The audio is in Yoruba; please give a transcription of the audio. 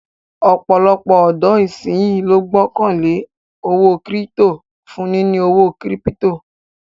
Ọ̀pọ̀lọpọ̀ ọ̀dọ̀ ìsínyí ló gbọ́kàn lé owó kírítò for níní owó kírípítò